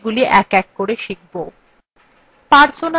আমরা এগুলি we we করে শিখব